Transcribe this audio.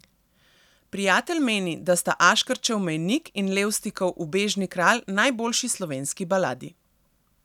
Prijatelj meni, da sta Aškerčev Mejnik in Levstikov Ubežni kralj najboljši slovenski baladi.